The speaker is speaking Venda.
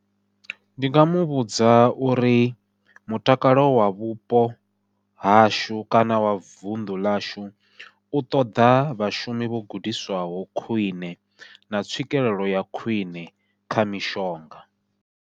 Ndi nga muvhudza uri mutakalo wa vhupo hashu kana wa vunḓu ḽashu u ṱoḓa vhashumi vho gudiswaho khwiṋe na tswikelelo ya khwiṋe kha mishonga.